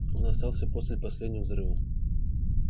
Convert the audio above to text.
он остался после последнего взрыва